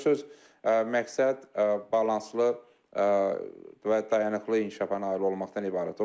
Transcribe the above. Söz-süz məqsəd balanslı və dayanıqlı inkişafa nail olmaqdan ibarətdir.